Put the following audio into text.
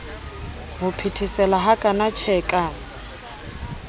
ho phethesela hakana tjhe ka